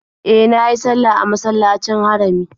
E, na yi sallah a masallacin Harami.